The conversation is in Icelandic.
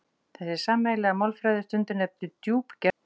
Þessi sameiginlega málfræði er stundum nefnd djúpgerð málanna.